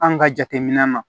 An ka jateminɛ ma